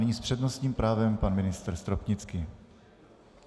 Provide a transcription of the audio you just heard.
Nyní s přednostním právem pan ministr Stropnický.